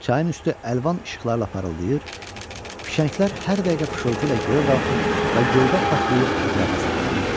Çayın üstü əlvan işıqlarla parıldayır, fişənglər hər dəqiqə fışıltı ilə göyə qalxır və göydə partlayıb ətrafa səpələnirdi.